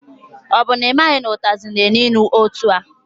Ọ bụ na ị maghị na ụtazị na-elu ilu etua?